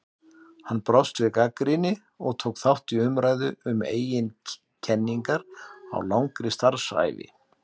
Hann brást við gagnrýni og tók þátt í umræðu um eigin kenningar á langri starfsævi.